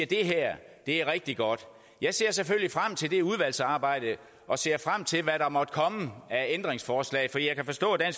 det her er rigtig godt jeg ser selvfølgelig frem til det udvalgsarbejde og ser frem til hvad der måtte komme af ændringsforslag for jeg kan forstå at